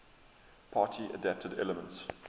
party adapted elements